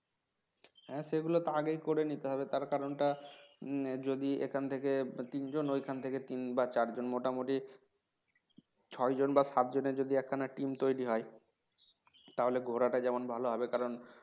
হ্যাঁ সেগুলো তো আগে করে নিতে হবে তার কারণটা যদি এখান থেকে তিনজন ওখান থেকে তিন বা চার জন মোটামুটি ছয় জন বা সাতজনের যদি একখানা team তৈরি হয় তাহলে ঘোরাটা যেমন ভালো হবে কারণ